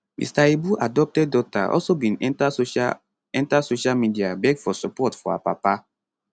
mr ibu adopted daughter also bin enta social enta social media beg for support for her papa